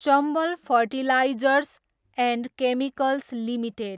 Chambal fertilisers and chemicals limited